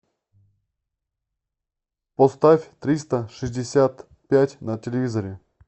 поставь триста шестьдесят пять на телевизоре